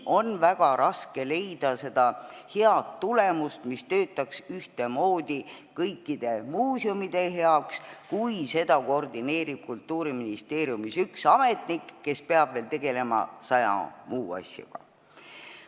On väga raske saada head tulemust, mis töötaks ühtemoodi kõikide muuseumide heaks, kui seda koordineerib Kultuuriministeeriumis üks ametnik, kes peab tegelema veel saja muu asjaga.